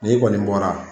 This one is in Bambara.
N'i kɔni bɔra